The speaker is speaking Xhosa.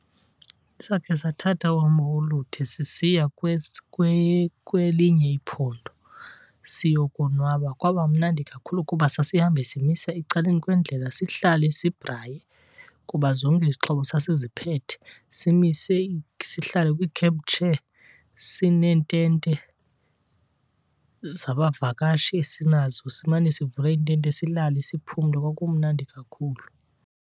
Sakhe sathatha uhambo olude sisiya kwelinye iphondo siyokonwaba. Kwaba mnandi kakhulu kuba sasihambe simisa ecaleni kwendlela, sihlale sibhraye, kuba zonke izixhobo sasiziphethe. Simise sihlale kwii-camp chair. Sineentete zabavakashi esinazo, simane sivula iintente silale siphumle. Kwakumnandi kakhulu.